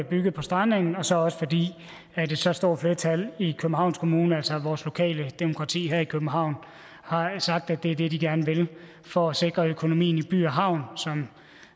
bygget på strandengen og så også fordi et så stort flertal i københavns kommune altså vores lokale demokrati her i københavn har sagt at det er det de gerne vil for at sikre økonomien i by havn